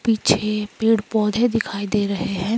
पीछे पेड़ पौधे दिखाई दे रहे हैं।